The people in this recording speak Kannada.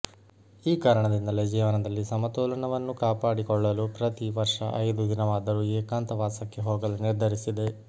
ಈ ಕಾರಣದಿಂದಲೇ ಜೀವನದಲ್ಲಿ ಸಮತೋಲನವನ್ನು ಕಾಪಾಡಿಕೊಳ್ಳಲು ಪ್ರತಿ ವರ್ಷ ಐದು ದಿನವಾದರೂ ಏಕಾಂತವಾಸಕ್ಕೆ ಹೋಗಲು ನಿರ್ಧರಿಸಿದೆ